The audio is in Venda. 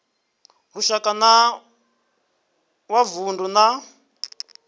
lushaka na wa vundu na